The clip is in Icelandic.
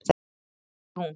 En ekki hún.